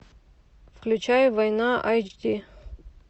включай война эйч ди